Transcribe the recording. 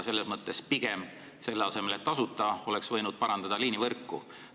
Selle asemel, et on tasuta, oleks pigem võinud parandada liinivõrku.